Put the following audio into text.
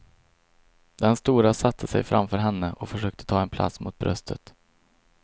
Den stora satte sig framför henne och försökte ta en plats mot bröstet.